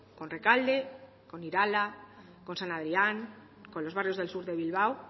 con rekalde con irala con san adrián con los barrios del sur de bilbao